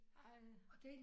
Ej